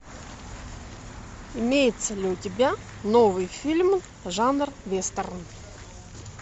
имеется ли у тебя новый фильм жанр вестерн